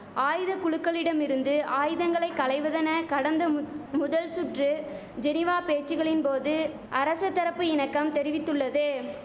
ஆயுதகுழுகளிடமிருந்து ஆயுதங்களை களைவதென கடந்த முத் முதல் சுற்று ஜெனிவா பேச்சுகளின் போது அரச தரப்பு இணக்கம் தெரிவித்துள்ளது